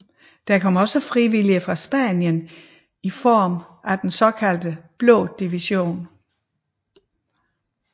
Der kom også frivillige fra Spanien i form af den såkaldte Blå division